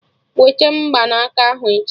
Wete Mgbanaka ahụ echi!